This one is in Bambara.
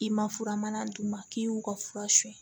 I ma fura mana d'u ma k'i y'u ka fura sonyɛ